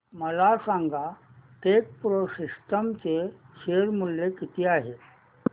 मला सांगा Techpro systems चे शेअर मूल्य किती आहे